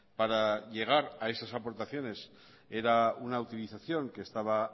para llegar a esas aportaciones era una utilización que estaba